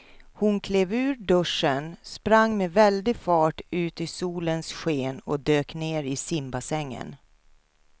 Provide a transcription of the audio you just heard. Hon klev ur duschen, sprang med väldig fart ut i solens sken och dök ner i simbassängen.